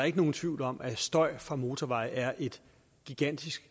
ikke nogen tvivl om at støj fra motorveje er et gigantisk